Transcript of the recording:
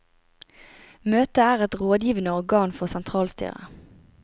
Møtet er et rådgivende organ for sentralstyret.